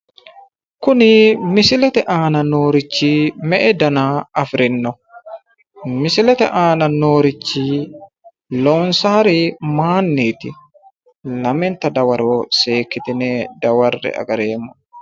Kuni misilete aana noorichi me"e dana afirino? Misilete aana noorichi loonsayiri mayiinniti? lamenta dawaro seekkitine dawarre"e agararemmo'ne.